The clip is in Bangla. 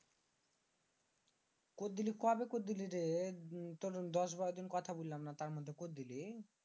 কইদ্দিলি কবে কইদ্দিলিরে? তুর দশ বারোদিন কথা বললামনা এর মধ্যে কইদ্দিলি?